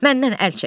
Məndən əl çək.